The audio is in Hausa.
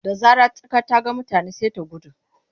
Da zarar tsaka ta ga mutane sai ta gudu.